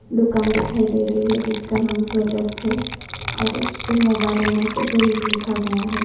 दुकान दिखाई दे रही है जिसका नाम कलर्स है और उसपे मोबाइल एन असेसरीइस लिखा गया है।